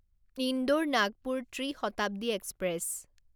Indore Nagpur Tri Shatabdi express